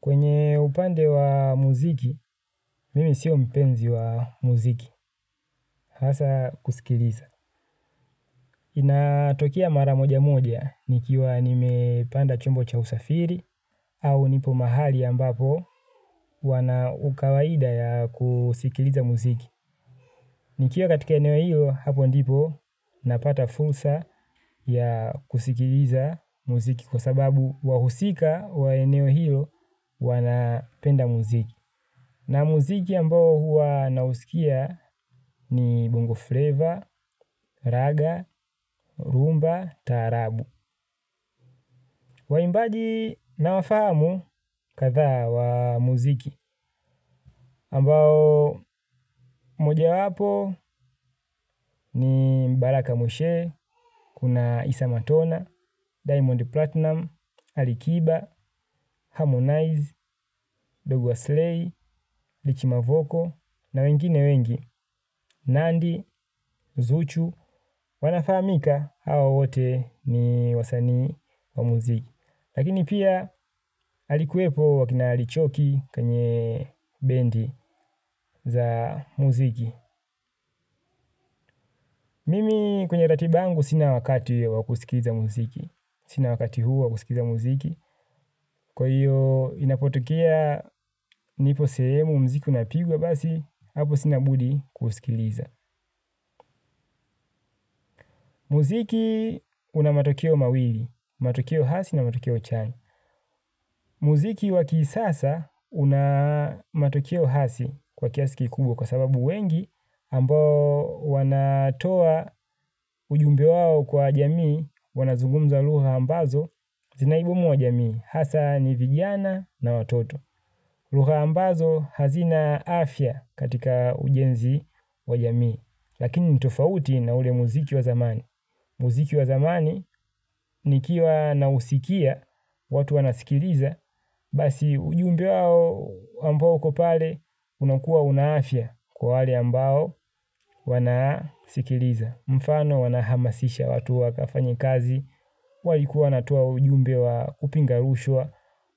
Kwenye upande wa muziki, mimi sio mpenzi wa muziki, hasa kusikiliza. Inatokea mara moja moja, nikiwa nimepanda chombo cha usafiri, au nipo mahali ambapo, wana ukawaida ya kusikiliza muziki. Nikiwa katika eneo hilo, hapo ndipo, napata fursa ya kusikiliza muziki kwa sababu wahusika wa eneo hilo, wanapenda muziki. Na muziki ambao huwa nausikia ni Bongo Flavor, Raga, Rumba, Taarabu. Waimbaji na wafahamu kadha wa muziki. Ambao moja wapo ni Baraka Moshe, Kuna Isa Matona, Diamond Platinum, Alikiba, Harmonize, Dogo Aslay, Rich mavoko na wengine wengi. Nandi, zuchu, wanafahamika hawa wote ni wasani wa muziki. Lakini pia alikuwepo wakina lichoki kanye bendi za muziki Mimi kwenye ratiba yangu sina wakati wakusikiza muziki. Sina wakati huo wakusikiza muziki. Kwa hiyo inapotokea nipo sehemu muziku una pigwa basi. Hapo sina budi kusikiliza. Muziki una matokeo mawili, matukio hasi na matukio chani. Muziki waki sasa unamatukio hasi kwa kiasiki kubwa kwa sababu wengi ambao wanatoa ujumbe wao kwa jamii wanazungumza lugha ambazo zinaiboma jamii. Hasa ni vijana na watoto. Lugha ambazo hazina afya katika ujenzi wa jamii, lakini nitofauti na ule muziki wa zamani. Muziki wa zamani nikiwa na usikia watu wanasikiliza, basi ujumbe wao ambao kwa pale unakua una afya kwa wale ambao wanasikiliza. Mfano wanahamasisha watu wakafanye kazi. Walikuwa wanaatoa ujumbe wa upinga rushwa.